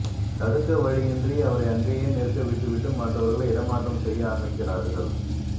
தடுக்க வழியின்றி அவரை அங்கேயே நிற்க விட்டுவிட்டு மற்றவர்களை இடமாற்றம் செய்ய ஆரம்பிக்கிறார்கள்